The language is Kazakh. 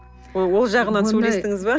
ол ол жағынан сөйлестіңіз бе